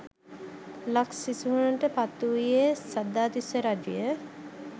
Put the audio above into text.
ලක් සිහසුනට පත් වුයේ සද්ධාතිස්ස රජුය.